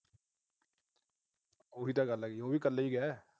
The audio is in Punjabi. ਉਹੀ ਤਾਂ ਗੱਲ ਏ। ਉਹ ਵੀ ਤਾਂ ਕੱਲਾ ਈ ਗਿਆ।